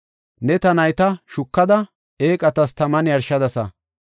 Ne ta nayta shukada, eeqatas taman yarshadasa.